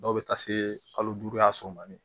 Dɔw bɛ taa se kalo duuru a so man di